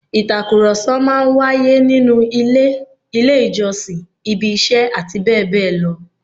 Ìtàkùrọ̀sọ máa ń wáyé nínú ilé, ilé ìjọsìn, ibi iṣẹ́ àti bẹ́ẹ̀ bẹ́ẹ̀ lọ